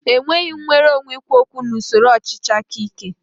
È nweghị nnwere onwe ikwu okwu na usoro ọchịchị aka ike.